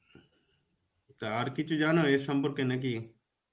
তা, আর কিছু জানো এর সম্পর্কে নাকি?